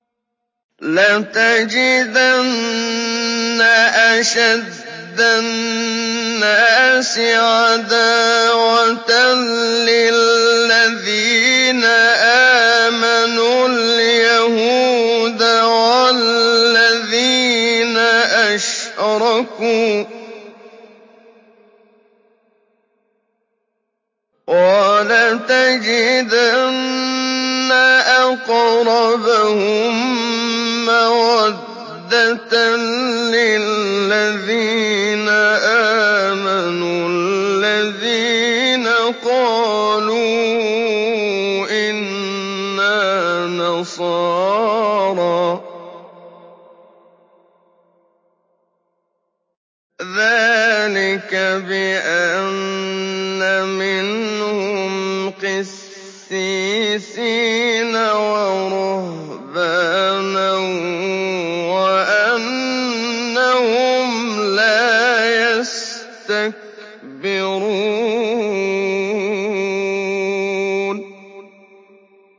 ۞ لَتَجِدَنَّ أَشَدَّ النَّاسِ عَدَاوَةً لِّلَّذِينَ آمَنُوا الْيَهُودَ وَالَّذِينَ أَشْرَكُوا ۖ وَلَتَجِدَنَّ أَقْرَبَهُم مَّوَدَّةً لِّلَّذِينَ آمَنُوا الَّذِينَ قَالُوا إِنَّا نَصَارَىٰ ۚ ذَٰلِكَ بِأَنَّ مِنْهُمْ قِسِّيسِينَ وَرُهْبَانًا وَأَنَّهُمْ لَا يَسْتَكْبِرُونَ